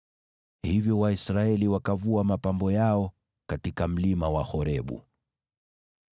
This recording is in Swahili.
Hivyo Waisraeli wakavua mapambo yao katika Mlima wa Horebu.